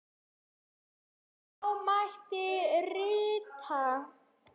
Þá mætti rita